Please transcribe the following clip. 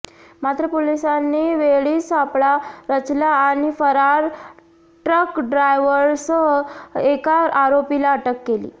मात्र पोलिसांनी वेळीच सापळा रचला आणि फरार ट्रकड्रायव्हरसह एका आरोपीला अटक केली